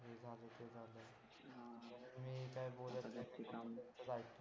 असले जास्त काम तर अयिकतो